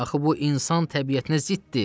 Axı bu insan təbiətinə ziddir.